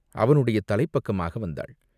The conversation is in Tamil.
அவனுடைய தலைப்பக்கமாக வந்தாள்.